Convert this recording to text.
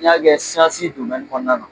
N y'a kɛ sansi domɛni kɔnɔna na